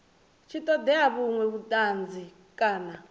tshi ṱoḓea vhuṅwe vhuṱanzi kana